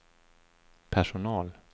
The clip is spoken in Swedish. personal